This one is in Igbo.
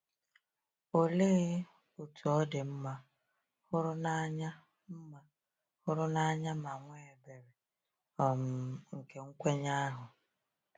Olee otú ọ dị mma, hụrụ n’anya, mma, hụrụ n’anya, ma nwee ebere, um nke nkwenye ahụ!